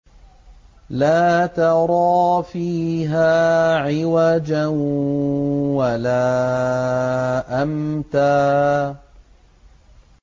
لَّا تَرَىٰ فِيهَا عِوَجًا وَلَا أَمْتًا